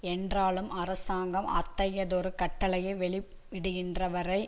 என்றாலும் அரசாங்கம் அத்தகையதொரு கட்டளையை வெளியிடுகின்ற வரை